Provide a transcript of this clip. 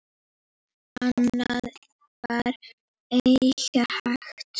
Annað var eigi hægt.